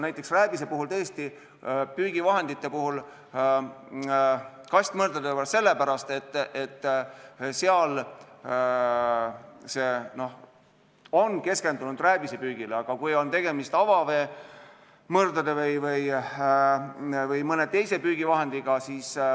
Näiteks rääbise puhul tõesti püügivahendite, kastmõrdade vahel jagatakse sellepärast, et see on keskendunud rääbisepüügile, aga võib olla tegemist ka avaveemõrdade või mõne teise püügivahendiga.